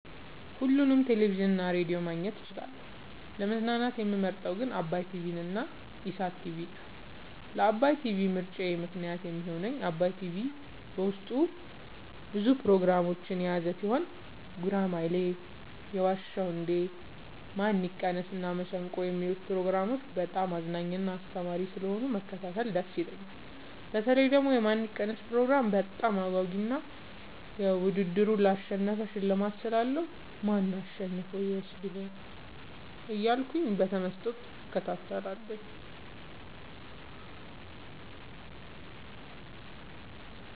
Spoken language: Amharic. ሁሉንም ቴሌቪዥን እና ሬዲዮ ማግኘት እችላለሁ: : ለመዝናናት የምመርጠዉ ግን ዓባይ ቲቪንና ኢሣት ቲቪን ነዉ። ለዓባይ ቲቪ ምርጫየ ምክንያት የሚሆነኝ ዓባይ ቲቪ በዉስጡ ብዙ ፕሮግራሞችን የያዘ ቲሆን ጉራማይሌ የዋ ዉ እንዴ ማን ይቀነስ እና መሠንቆ የሚሉትን ፕሮግራሞች በጣም አዝናኝና አስተማሪ ስለሆኑ መከታተል ደስ ይለኛል። በተለይ ደግሞ የማን ይቀነስ ፕሮግራም በጣም አጓጊ እና ዉድድሩን ላሸነፈ ሽልማት ስላለዉ ማን አሸንፎ ይወስድ ይሆን እያልኩ በተመስጦ እከታተላለሁ።